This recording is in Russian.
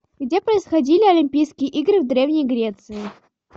где происходили олимпийские игры в древней греции